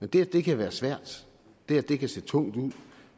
men det at det kan være svært det at det kan se tungt ud